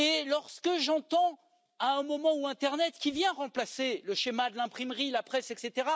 Lorsque j'entends, à un moment où internet vient remplacer le schéma de l'imprimerie, la presse, etc.